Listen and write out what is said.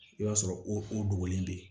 I b'a sɔrɔ o dogolen bɛ yen